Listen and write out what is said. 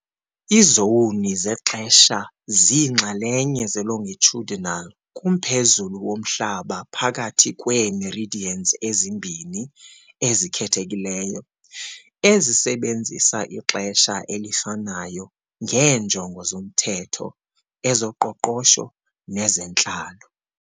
Izowuni zexesha ziinxalenye zelongitudinal kumphezulu woMhlaba phakathi kweemeridians ezimbini ezikhethekileyo, ezisebenzisa ixesha elifanayo ngeenjongo zomthetho, ezoqoqosho nezentlalo.